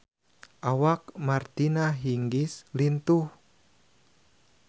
Awak Martina Hingis lintuh